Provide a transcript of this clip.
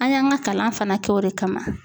An y'an ka kalan fana kɛ o de kama